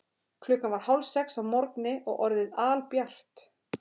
Klukkan var hálfsex að morgni og orðið albjart.